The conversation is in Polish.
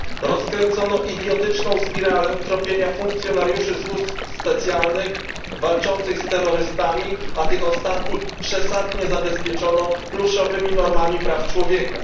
Rozkręcono idiotyczną spiralę tropienia funkcjonariuszy służb specjalnych walczących z terrorystami, a tych ostatnich przesadnie zabezpieczono pluszowymi normami praw człowieka.